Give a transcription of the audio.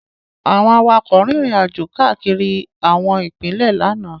Àwọn awakọ̀ rin ìrìnàjò káàkiri àwọn ipinle lánàá.